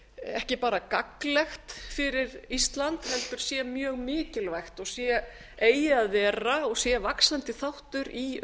ekki bara gagnlegt fyrir ísland heldur sé mjög mikilvægt og eigi að vera og sé vaxandi þáttur í